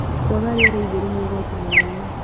Kwaga rĩera itheru nĩ ũgwati mũnene